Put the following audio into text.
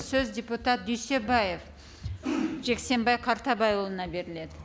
сөз депутат дүйсебаев жексенбай қартабайұлына беріледі